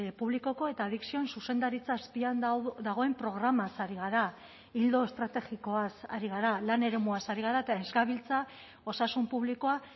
publikoko eta adikzioen zuzendaritza azpian da dagoen programaz ari gara ildo estrategikoaz ari gara lan eremuaz ari gara eta ez gabiltza osasun publikoa